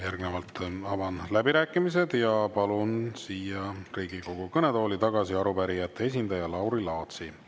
Järgnevalt avan läbirääkimised ja palun siia Riigikogu kõnetooli tagasi arupärijate esindaja Lauri Laatsi.